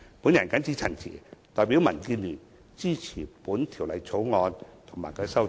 我謹此陳辭，代表民建聯支持《條例草案》及其修正案。